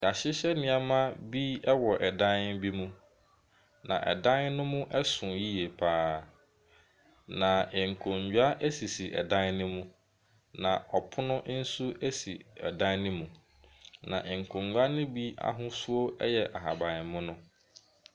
Yɛahyehyɛ nneema bi wɔ dan bi mu na ɛdan no mu ɛso yie paa. Na nkonnwa esisi ɛdan no mu na ɔpono nso esi ɔdan no mu. Na nkonnwa no bi ahosuo ɛyɛ ahaban mono.